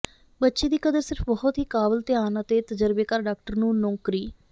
ਬੱਚੇ ਦੀ ਕਦਰ ਸਿਰਫ ਬਹੁਤ ਹੀ ਕਾਬਲ ਧਿਆਨ ਅਤੇ ਤਜਰਬੇਕਾਰ ਡਾਕਟਰ ਨੂੰ ਨੌਕਰੀ